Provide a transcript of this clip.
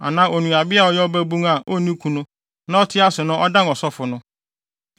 anaa onuabea a ɔyɛ ɔbabun a onni kunu na ɔte ase no na ɔdan ɔsɔfo no.